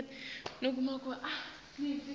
ngabe ngumuphi umuntfu